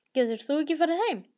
Geturðu ekki farið með þeim?